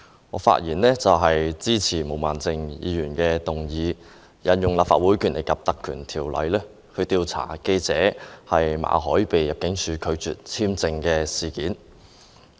我發言支持毛孟靜議員的議案，藉此引用《立法會條例》調查入境事務處拒絕為記者馬凱的工作簽證續期的事件。